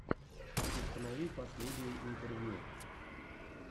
установи последние интервью